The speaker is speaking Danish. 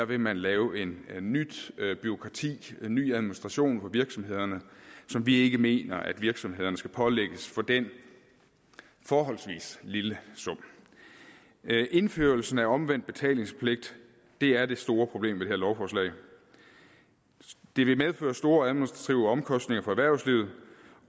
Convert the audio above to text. vil man lave et nyt bureaukrati en ny administration på virksomhederne som vi ikke mener at virksomhederne skal pålægges for den forholdsvis lille sum indførelsen af omvendt betalingspligt er det store problem ved det her lovforslag det vil medføre store administrative omkostninger for erhvervslivet